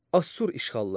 Assur işğalları.